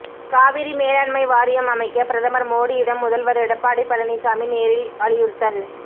காவிரி மேலாண்மை வாரியம் அமைக்க பிரதமர் மோடியிடம் முதல்வர் எடப்பாடி பழனிசாமி நேரில் வலியுறுத்தல்